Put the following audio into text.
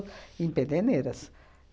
Em Pederneiras.